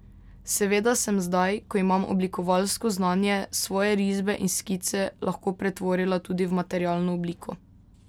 Seveda sem zdaj, ko imam oblikovalsko znanje, svoje risbe in skice lahko pretvorila tudi v materialno obliko.